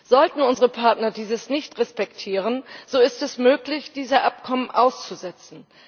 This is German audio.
Sollten unsere Partner dies nicht respektieren, so ist es möglich, diese Abkommen auszusetzen.